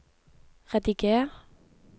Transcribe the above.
rediger